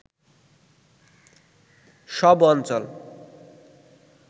সব অঞ্চল